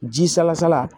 Ji salasala